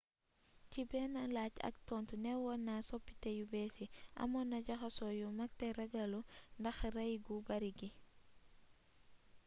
ci benn laaj ak tontu neewon na soppité yu bées yi amoonna jaxasoo yu mag té ragallu ndax ray gu bari gi